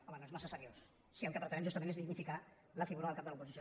home no és massa seriós si el que pretenem justament és dignificar la figura del cap de l’oposició